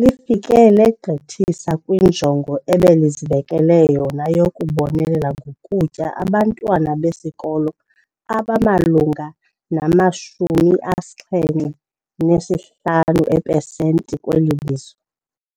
lifike legqithisa kwinjongo ebelizibekele yona yokubonelela ngokutya abantwana besikolo abamalunga nama-75 eepesenti kweli lizwe.